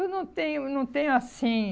Eu não tenho, não tenho assim,